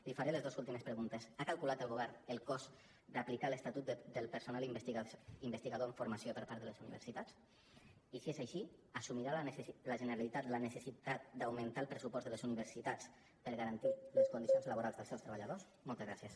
li faré les dos últimes preguntes ha calculat el govern el cost d’aplicar l’estatut del personal investigador en formació per part de les universitats i si és així assumirà la generalitat la necessitat d’augmentar el pressupost de les universitats per garantir les condicions laborals dels seus treballadors moltes gràcies